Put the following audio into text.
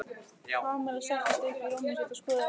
Kamilla settist upp í rúmið sitt og skoðaði bréfið ítarlega.